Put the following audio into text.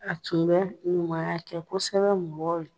A tun bɛ ɲumanya kɛ kosɛbɛ mɔgɔ ye.